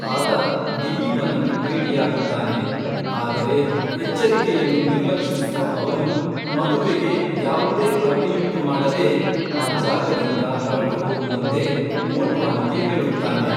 ಆತ ದಿಲೀಪನನ್ನು ಭೇಟಿಯಾಗುತ್ತಾನೆ, ಆದರೆ ಎಚ್ಚರಿಕೆಯನ್ನು ನಿರ್ಲಕ್ಷಿಸುವ ಅವನು ಮದುವೆಗೆ ಯಾವುದೇ ಅಡ್ಡಿಯುಂಟುಮಾಡದೇ ಆ ಜಾಗದಿಂದ ಹೊರಟುಹೋಗುವಂತೆ ಮೋಟ್ವಾನಿಗೆ ಹೇಳುತ್ತಾನೆ.